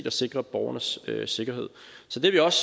og sikre borgernes sikkerhed så det er vi også